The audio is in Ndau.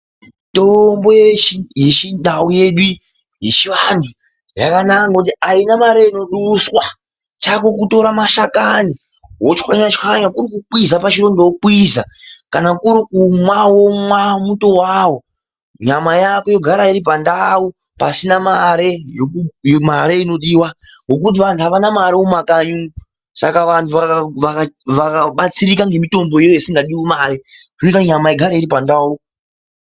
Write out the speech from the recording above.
Mitombo yechindau yechivantu yakanaka kuti haina mari inobushwa chavo kutora mashakanyi kutswanya tswanya kuri kukwiza pachironda okwiza, kana kuri kumwe omwa muto wawo, nyama yako yogara iri pandau pasina mari inodiwa nokuti vantu havana mari mumakanyi umu saka vantu vakabatsirika nemitombo iyi isina mari zvinoita kuti nyama igare iripandau.